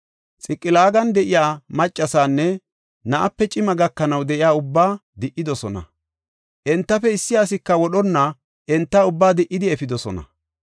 Xiqilaagan de7iya maccasaanne na7ape cima gakanaw de7iya ubbaa di77idosona; entafe issi asika wodhonna enta ubbaa di77idi efidosona.